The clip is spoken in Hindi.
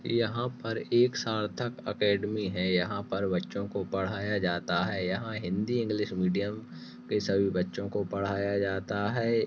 यहाँ पर एक सार्थक अकेडमी है यहाँ पर बच्चो को पढाया जाता है यहाँ हिन्दी इंग्लिश मीडीअम के सभी बच्चो को पढाया जाता है।